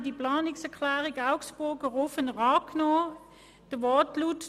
Wir nahmen damals die Planungserklärung Augstburger/Rufener an mit folgendem Wortlaut: